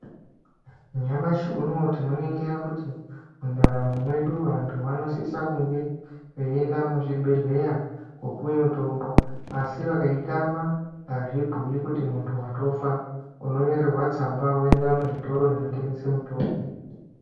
Nyamashi unowu tinoningira kuti mu ndaramo mwedu vantu vanosisa kunge veyi enda mu zvibhedhleya kopiwe mutombo asi vakai tama azvibhuyi kuti muntu watofa uno nyorerwa tsamba woenda muzvitoro zvino tengese mitombo.